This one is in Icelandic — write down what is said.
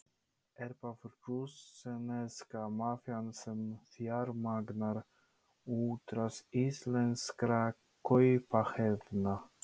Er það rússneska mafían sem fjármagnar útrás íslenskra kaupahéðna?